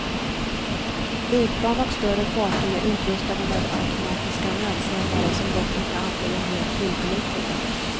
Flygplan och större fartyg är utrustade med automatiska nödsändare som dock inte alltid är helt tillförlitliga.